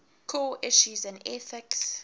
core issues in ethics